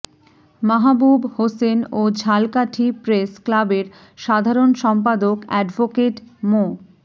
মাহাবুব হোসেন ও ঝালকাঠি প্রেস ক্লাবের সাধারণ সম্পাদক অ্যাডভোকেট মো